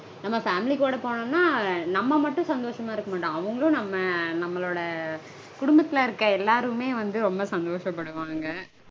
நம்ம family கூட போனோம்னா நம்ம மட்டும் சந்தோஷமா இருக்க மாட்டோம். அவங்களும் நம்ம நம்மளோட குடும்பத்தில இருக்க எல்லாருமே வந்து ரொம்ப சந்தோஷப்படுவாங்க.